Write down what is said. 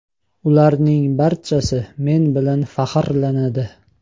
Ularning barchasi men bilan faxrlanadi.